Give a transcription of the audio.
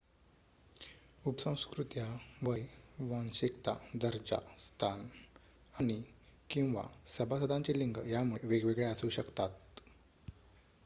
उपसंस्कृत्या वय वांशिकता दर्जा स्थान आणि/किंवा सभासदांचे लिंग यांमुळे वेगवेगळ्या असू शकतात